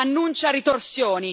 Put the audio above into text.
annuncia ritorsioni.